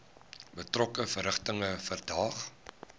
betrokke verrigtinge verdaag